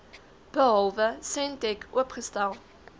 behalwe sentech oopgestel